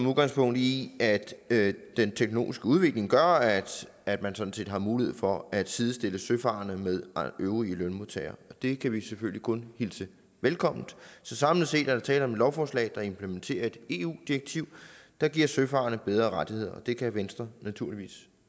udgangspunkt i at at den teknologiske udvikling gør at at man sådan set har mulighed for at sidestille søfarende med øvrige lønmodtagere det kan vi selvfølgelig kun hilse velkommen så samlet set er der tale om et lovforslag der implementerer et eu direktiv der giver søfarende bedre rettigheder og det kan venstre naturligvis